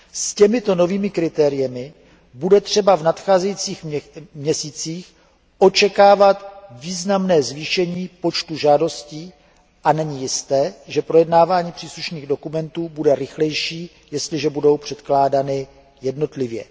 S těmito novými kritérii bude třeba v nadcházejících měsících očekávat významné zvýšení počtu žádostí a není jisté, že projednání příslušných dokumentů bude rychlejší, jestliže budou předkládány jednotlivě.